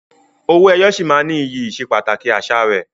Owó ẹyọ sì máa ní iyì ìsepàtàkì àṣà rẹ.